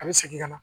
A bɛ segin ka na